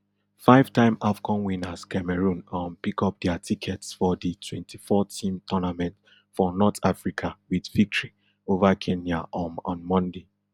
fivetime afcon winners cameroon um pickup dia tickets for di twenty-fourteam tournament for north africa wit victory ova kenya um on monday